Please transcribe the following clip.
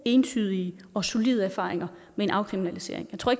entydige og solide erfaringer med en afkriminalisering